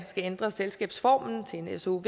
ændre selskabsformen til en sov